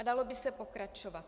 A dalo by se pokračovat.